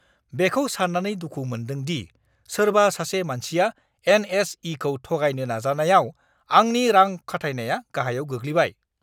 बेखौ सान्नानै दुखु मोन्दों दि सोरबा सासे मानसिया एन.एस.इ.खौ थगायनो नाजायानायाव आंनि रां-खाथायनाया गाहायाव गोग्लैबाय!